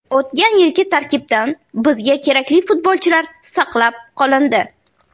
O‘tgan yilgi tarkibdan bizga kerakli futbolchilar saqlab qolindi.